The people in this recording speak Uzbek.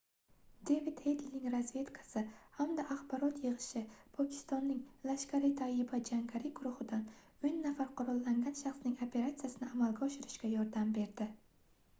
devid hedlining razvedkasi hamda axborot yigʻishi pokistonning laskhar-e-taiba jangari guruhidan 10 nafar qurollangan shaxsning operatsiyasini amalga oshirishga yordam berdi